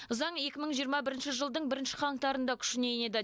заң екі мың жиырма бірінші жылдың бірінші қаңтарында күшіне енеді